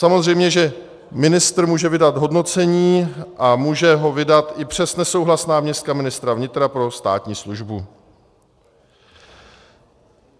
Samozřejmě že ministr může vydat hodnocení a může ho vydat i přes nesouhlas náměstka ministra vnitra pro státní službu.